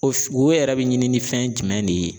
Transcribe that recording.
O wo yɛrɛ bɛ ɲini ni fɛn jumɛn de ye?